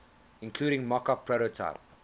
including mockup prototype